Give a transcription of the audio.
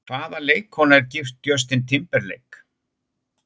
Hvaða leikkona er gift Justin Timberlake?